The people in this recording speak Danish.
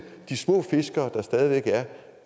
de små fiskere der stadig